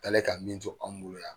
Aka ye ka min to an bolo yan.